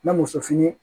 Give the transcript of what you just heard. Mɛ muso fini ye